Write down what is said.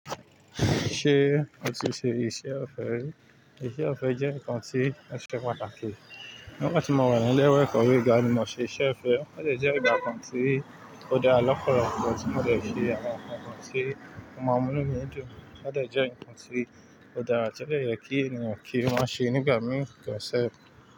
Ṣé ó ti ṣe iṣẹ́ ọ̀fẹ́ rí? Ìṣẹ́ ọ̀fẹ́ jẹ́ nǹkan tí ó ṣe pàtàkì. Nígbà tí mo wà ní ilé ìwé ẹ̀kọ́ gíga ni mo ṣe iṣẹ́ ọ̀fẹ́, ọ̀ dẹ̀ jẹ́ ìgbà kan tí ó dára lọpọlọpọ tí mo dẹ̀ fi àwọn nǹkan kan tí ó màá mú nú mi í dún, ọ̀ dẹ̀ jẹ́ nǹkan tí ó dára. Tó dẹ̀ yẹ kí ènìyàn kí wọ́n ṣe nígbà míì gan sef.